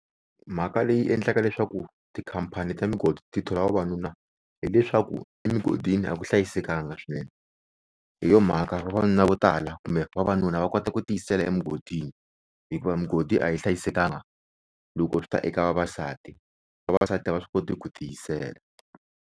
Mhaka leyi endlaka leswaku tikhampani ta migodi ti thola vavanuna, hileswaku emugodini a ku hlayisekanga swinene, hi yo mhaka vavanuna vo tala kumbe vavanuna va kota ku tiyisela emugodini hikuva mugodi a yi hlayisekanga loko swi ta eka vavasati vavasati a va swi koti ku tiyisela.